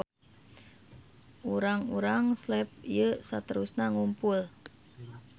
Urang-urang Slav ieu saterusna ngumpul.